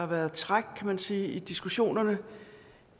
været træk kan man sige i diskussionerne